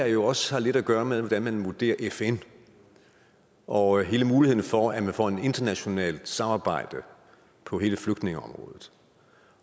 jo også lidt at gøre med hvordan man vurderer fn og hele muligheden for at man får et internationalt samarbejde på hele flygtningeområdet